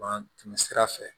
Ban tɛmɛ sira fɛ